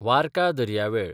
वार्का दर्यावेळ